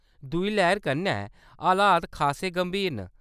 दूई लैह्‌‌र कन्नै हालात खासे गंभीर न।